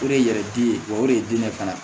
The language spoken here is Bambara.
O de ye yɛrɛ diden ye wa o de ye diden ye fana